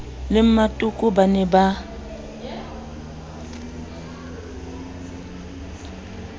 le mmatoko ba ne ba